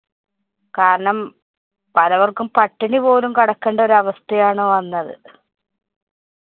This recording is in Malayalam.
കാരണം പലവര്‍ക്കും പട്ടിണിപോലും കിടക്കേണ്ട ഒരു അവസ്ഥയാണ് വന്നത്.